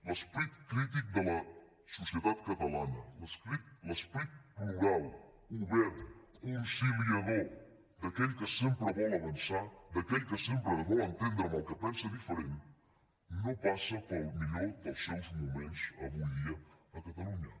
l’esperit crític de la societat catalana l’esperit plural obert conciliador d’aquell que sempre vol avançar d’aquell que sempre es vol entendre amb el que pensa diferent no passa pel millor dels seus moments avui dia a catalunya